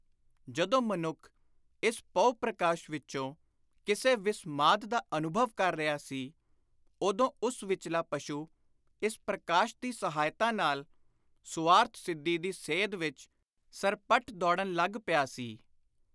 ਜਦੋਂ ਮਨੁੱਖ ਇਸ ਪਹੁ-ਪ੍ਰਕਾਸ਼ ਵਿਚੋਂ ਕਿਸੇ ਵਿਸਮਾਦ ਦਾ ਅਨੁਭਵ ਕਰ ਰਿਹਾ ਸੀ, ਉਦੋਂ ਉਸ ਵਿਚਲਾ ਪਸ਼ੂ ਇਸ ਪ੍ਰਕਾਸ਼ ਦੀ ਸਹਾਇਤਾ ਨਾਲ ਸੁਆਰਥ ਸਿੱਧੀ ਦੀ ਸੇਧ ਵਿਚ ਸਰਪੱਟ ਦੌੜਨ ਲੱਗ ਪਿਆ ਸੀ।